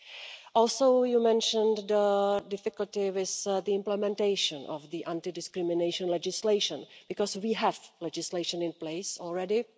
You also mentioned the difficulty with the implementation of the anti-discrimination legislation because we have legislation in place already.